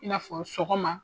I n'a fɔ sɔgɔma.